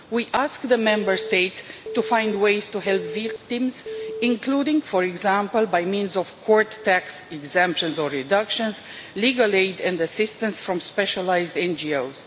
We asked the Member States to find ways to help victims including, for example, by means of court tax exemptions or reductions or legal aid and assistance from specialised NGOs.